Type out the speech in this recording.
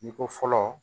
I ko fɔlɔ